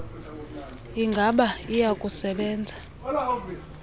ingaba iya kusebenza